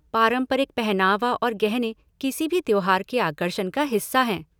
पारंपरिक पहनावा और गहने किसी भी त्योहार के आकर्षण का हिस्सा हैं।